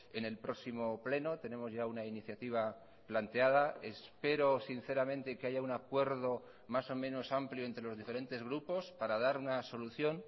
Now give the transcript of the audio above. en el próximo pleno tenemos ya una iniciativa planteada espero sinceramente que haya un acuerdo más o menos amplio entre los diferentes grupos para dar una solución